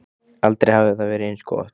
Aldrei hafði það verið eins gott.